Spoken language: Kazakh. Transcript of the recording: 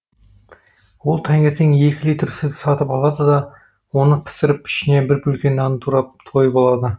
ол таңертең екі литр сүт сатып алады да оны пісіріп ішіне бір бөлке нанды турап тойып алады